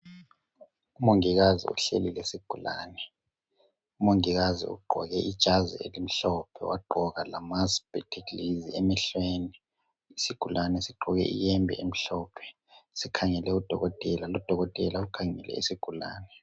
Umongikazi uhleli lesigulane. Umongikazi ugqoke ijazi elimhlophe wagqoka lama spectacles emehlweni. Isigulane sigqoke ihembe emhlophe sikhangele u dokotela lo dokotela ukhangele isigulane.